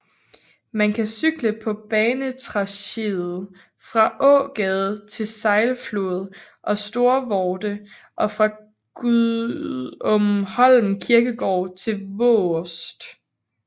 Man kan cykle på banetracéet fra Aagade til Sejlflod og Storvorde og fra Gudumholm Kirkegård til Vaarst